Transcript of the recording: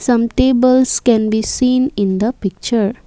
some tables can be seen in the picture.